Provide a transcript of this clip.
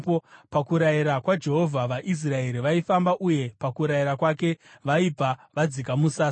Pakurayira kwaJehovha, vaIsraeri vaifamba, uye pakurayira kwake, vaibva vadzika musasa.